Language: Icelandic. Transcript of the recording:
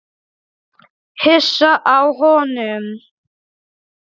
Hissa á honum.